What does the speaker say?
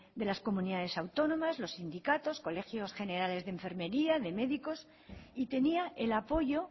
de las comunidades autónomas los sindicatos colegios generales de enfermería de médicos y tenía el apoyo